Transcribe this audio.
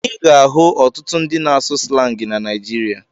Ị ga-ahụ ọtụtụ ndị na-asụ slangị na Naịjirịa.